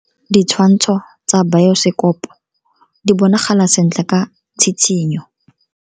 Ditshwantsho tsa biosekopo di bonagala sentle ka tshitshinyo.